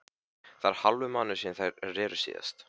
Það er hálfur mánuður síðan þeir reru síðast.